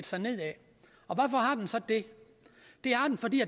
sig nedad hvorfor har den så det det har den fordi